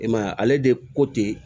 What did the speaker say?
I m'a ye ale de ko ten